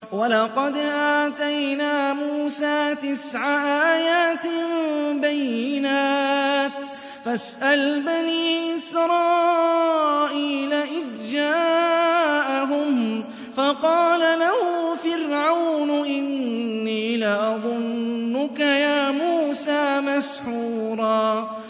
وَلَقَدْ آتَيْنَا مُوسَىٰ تِسْعَ آيَاتٍ بَيِّنَاتٍ ۖ فَاسْأَلْ بَنِي إِسْرَائِيلَ إِذْ جَاءَهُمْ فَقَالَ لَهُ فِرْعَوْنُ إِنِّي لَأَظُنُّكَ يَا مُوسَىٰ مَسْحُورًا